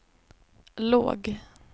låg